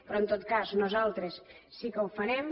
però en tot cas nosaltres sí que ho farem